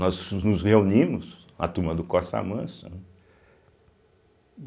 Nós nos reunimos, a turma do Costa Manso, né.